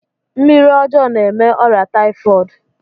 Mmiri ọjọọ na-eme ọrịa taifọd.